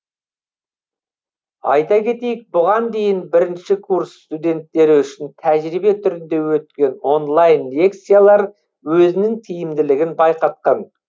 айта кетейік бұған дейін бірінші курс студенттері үшін тәжірибе түрінде өткен онлайн лекциялар өзінің тиімділігін байқатқан